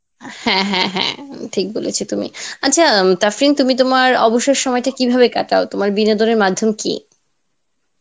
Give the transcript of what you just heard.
হ্যাঁ হ্যাঁ হ্যাঁ ঠিক বলেছো তুমি, আচ্ছা তাফরিন তুমি তোমার অবসর সময়টা তুমি কিভাবে কাটাও তোমার বিনোদনের মাধ্যম কি?